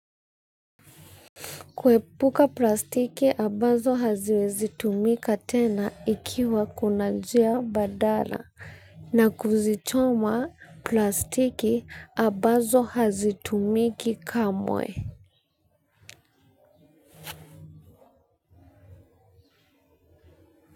Kuepuka plastiki ambazo haziwezi tumika tena ikiwa kuna njia mbadala na kuzichoma plastiki ambazo hazitumiki kamwe.